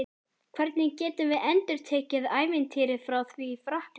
Hvernig getum við endurtekið ævintýrið frá því í Frakklandi?